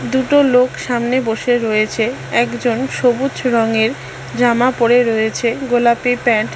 দুটো লোক সামনে বসে রয়েছে একজন সবুজ রংয়ের জামা পরে রয়েছে গোলাপি প্যান্ট --